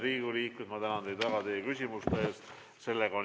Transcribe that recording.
Head Riigikogu liikmed, ma tänan teid väga küsimuste eest!